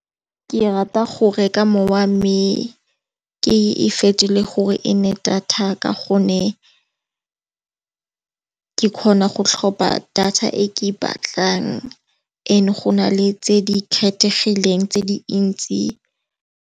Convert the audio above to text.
Ke rata go reka mowa me ke e fetole gore e nne data ka gonne ke kgona go tlhopha data e ke e batlang ano go na le tse di kgethegileng tse di ntsi.